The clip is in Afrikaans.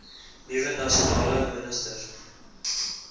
nuwe nasionale minister